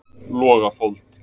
Logafold